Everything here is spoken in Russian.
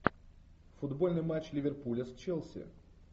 футбольный матч ливерпуля с челси